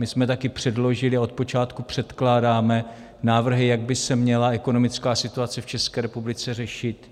My jsme také předložili a odpočátku předkládáme návrhy, jak by se měla ekonomická situace v České republice řešit.